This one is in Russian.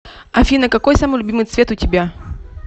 афина какой самый любимый цвет у тебя